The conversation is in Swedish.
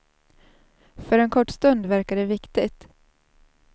För en kort stund verkar det viktigt.